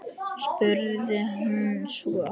spurði hún svo.